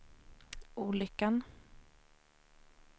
olyckan